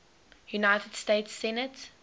united states senate